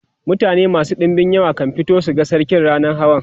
mutane masu ɗinbin yawa kan fito su ga sarki rannan hawa